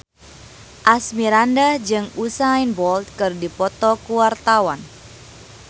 Asmirandah jeung Usain Bolt keur dipoto ku wartawan